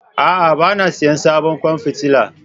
A'a, ba na sayen sabon kwan fitila